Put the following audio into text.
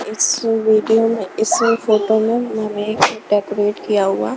इस वेडिंग में इस फोटो में मैंने डेकोरेट किया हुआ--